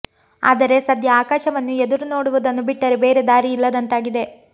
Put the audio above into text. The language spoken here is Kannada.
ಆದರೆ ಸದ್ಯ ಆಕಾಶವನ್ನು ಎದುರು ನೋಡುವುದನ್ನು ಬಿಟ್ಟರೆ ಬೇರೆ ದಾರಿ ಇಲ್ಲದಂತಾಗಿದೆ